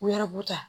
U yɛrɛ b'u ta